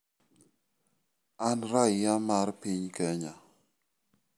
An raia mar piny Kenya.